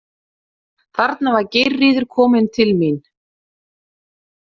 Þarna var Geirríður komin til mín.